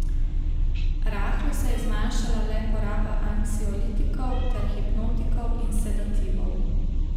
Rahlo se je zmanjšala le poraba anksiolitikov ter hipnotikov in sedativov.